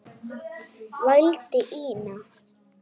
vældi Ína.